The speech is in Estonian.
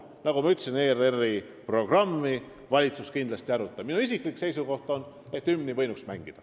Nagu ma ütlesin, ERR-i programmi valitsus kindlasti ei aruta, aga minu isiklik seisukoht on, et hümni võinuks mängida.